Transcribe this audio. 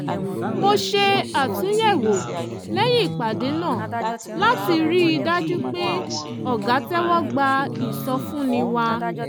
mo ṣe àtúnyẹ̀wò lẹ́yìn ìpàdé náà láti rí i dájú pé ọ̀gá tẹ́wọ́ gba ìsọfúnni wa